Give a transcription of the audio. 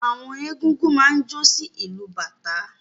Àwọn egúngún máa ń jó sí ìlù bàtá.